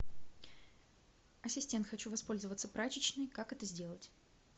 ассистент хочу воспользоваться прачечной как это сделать